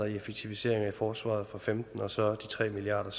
i effektiviseringer i forsvaret og femten og så de tre milliard